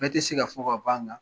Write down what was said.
Bɛɛ tɛ se ka fɔ ka ban ga